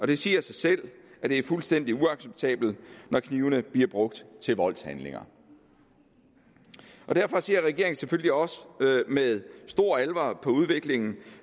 det siger sig selv at det er fuldstændig uacceptabelt når knivene bliver brugt til voldshandlinger derfor ser regeringen selvfølgelig også med stor alvor på udviklingen